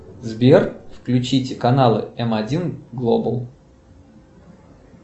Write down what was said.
сбер включить каналы м один глобал